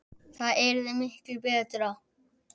Það yrði miklu BETRA!